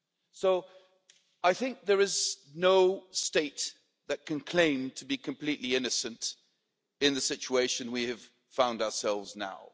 So there is no state that can claim to be completely innocent in the situation we have found ourselves now.